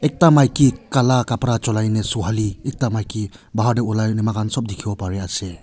ekta maiki kala kapra julai na suhali ekta maiki bahar de ulai na moikan sob dikhiwo pari ase.